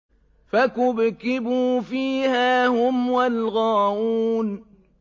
فَكُبْكِبُوا فِيهَا هُمْ وَالْغَاوُونَ